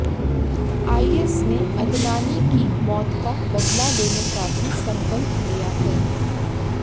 IS ने Adnani की मौत का बदला लेने का भी संकल्प लिया है